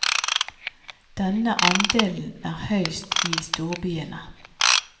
Denne andelen er høyest i storbyene.